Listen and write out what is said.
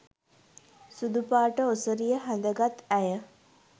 ' සුදුපාට ඔසරිය හැඳගත් ඇය